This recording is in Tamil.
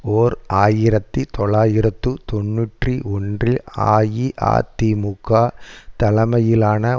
ஓர் ஆயிரத்தி தொள்ளாயிரத்து தொன்னூற்றி ஒன்றில் அஇஅதிமுக தலைமையிலான